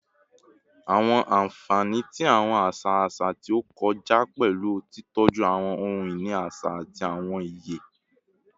Awọn anfani ti awọn aṣa aṣa ti o kọja pẹlu titọju awọn ohun-ini aṣa ati awọn iye